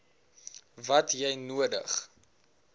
wat jy nodig